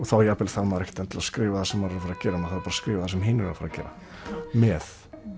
þá jafnvel þarf maður ekki að skrifa það sem maður ætlar að gera maður þarf bara að skrifa það sem hinir eiga að gera með